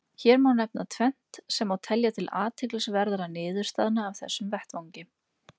Hér má nefna tvennt sem má telja til athyglisverðra niðurstaðna af þessum vettvangi.